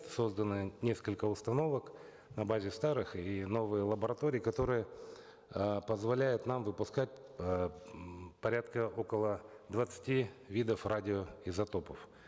созданы несколько установок на базе старых и новые лаборатории которые э позволяют нам выпускать э м порядка около двадцати видов радиоизотопов